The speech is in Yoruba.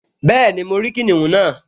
Bẹ́ẹ̀ni, mo rí kìnìún náà